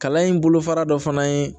Kalan in bolofara dɔ fana ye